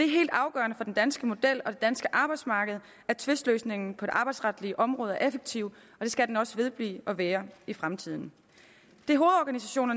helt afgørende for den danske model og det danske arbejdsmarked at tvistløsningen på det arbejdsretlige område er effektiv og det skal den også vedblive at være i fremtiden det